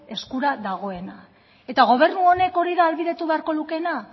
eskura dagona eta gobernu honek hori da ahalbidetu beharko lukeena